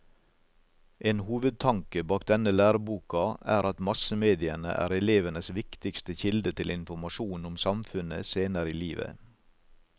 En hovedtanke bak denne læreboka er at massemediene er elevenes viktigste kilde til informasjon om samfunnet senere i livet.